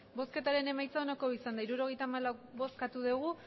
bozketaren emaitza onako izan da hirurogeita hamabost eman dugu